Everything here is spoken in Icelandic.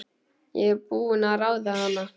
Ég er búin að ráða hana!